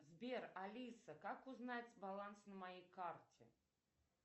сбер алиса как узнать баланс на моей карте